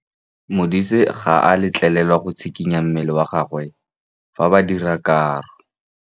Modise ga a letlelelwa go tshikinya mmele wa gagwe fa ba dira karô.